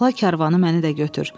Saxla karvanı məni də götür.